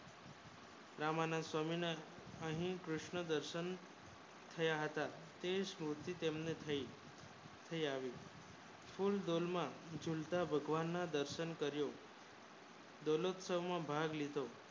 અહીં કૃષ્ન દર્શન થયા હતા તેવીસ્મુર્તિ તેને થઈ તેઆવી શૂળ ધર્મ ઝુલતા ભગવાન ના દર્શન કરી બે લૂપ માં ભાગ લીધો